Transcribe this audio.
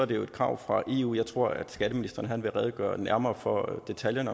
det et krav fra eu jeg tror at skatteministeren vil redegøre nærmere for detaljerne